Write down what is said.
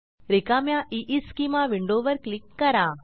रिकाम्या ईस्केमा विंडोवर क्लिक करा